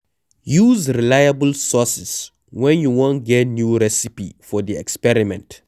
Use reliable sources when you wan get new recipe for di experiment